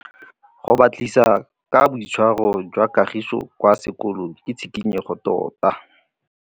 Go batlisisa ka boitshwaro jwa Kagiso kwa sekolong ke tshikinyêgô tota.